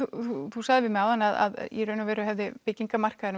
þú sagðir við mig áðan að í raun og veru hafi byggingarmarkaðurinn